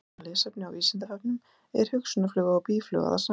Frekara lesefni á Vísindavefnum: Er hunangsfluga og býfluga það sama?